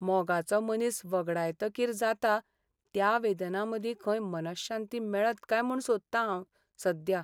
मोगाचो मनीस वगडायतकीर जाता त्या वेदनांमदीं खंय मनःशांती मेळत काय म्हूण सोदतां हांव सध्या.